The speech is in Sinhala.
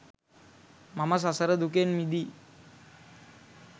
මම සසර දුකෙන් මිදී